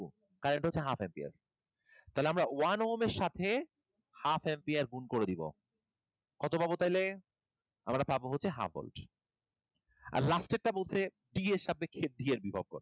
Current হচ্ছে half ampere, তাহলে আমরা one ohm এর সাথে half ampere গুন করে দিব। কত পাবো তাইলে? আমরা পাবো হচ্ছে half volt, আর last এর টা বলছে D এর সাপেক্ষে B এর বিভব কতো?